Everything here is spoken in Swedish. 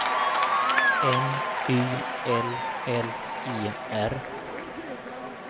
M ü L L E R